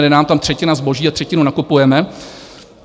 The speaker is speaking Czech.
Jde nám tam třetina zboží a třetinu nakupujeme.